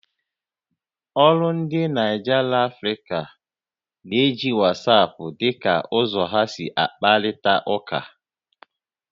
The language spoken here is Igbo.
Ólú ndi Naịja Lanfrịca na-eji WhatsApp dị ka ụzọ ha si akparịta ụka